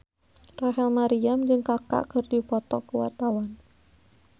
Rachel Maryam jeung Kaka keur dipoto ku wartawan